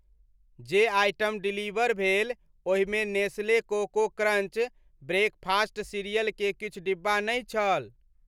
जे item deliver भेल ओहिमे Nestle Coco Crunch breakfast cereal के किछु डिब्बा नहि छल।